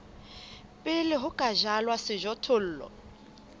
pele ho ka jalwa sejothollo